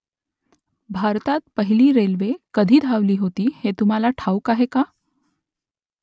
भारतात पहिली रेल्वे कधी धावली होती ते तुम्हाला ठाऊक आहे का ?